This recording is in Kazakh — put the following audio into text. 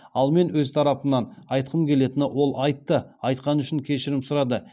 ал мен өз тарапымнан айтқым келетіні ол айтты айтқаны үшін кешірім сұрады